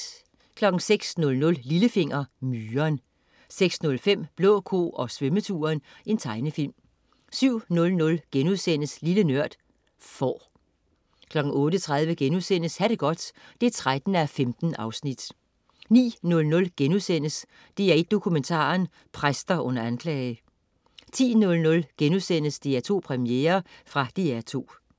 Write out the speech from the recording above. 06.00 Lillefinger. Myren 06.05 Blå ko og svømmeturen. Tegnefilm 07.00 Lille Nørd.* Får 08.30 Ha' det godt 13:15* 09.00 DR1 Dokumentaren: Præster under anklage* 10.00 DR2 Premiere.* Fra DR2